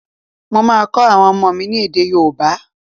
Mo máa kọ́ àwọn ọmọ mi ni èdè yóòbá